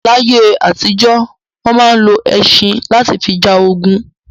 Láyé àtìjọ́, wọn máa ń lọ ẹṣin lati fi ja ogun